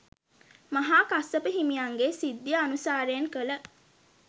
මහා කස්සප හිමියන්ගේ සිද්ධිය අනුසාරයෙන් කළ